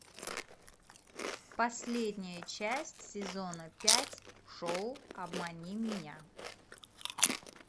последняя часть сезона пять шоу обмани меня